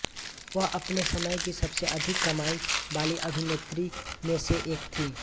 वह अपने समय की सबसे अधिक कमाई वाली अभिनेत्री में से एक थीं